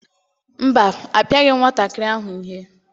Mba, apịaghị m nwatakịrị ahụ ihe.